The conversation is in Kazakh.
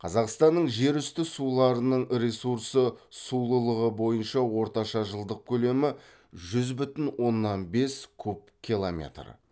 қазақстанның жер үсті суларының ресурсы сулылығы бойынша орташа жылдық көлемі жүз бүтін оннан бес куб километр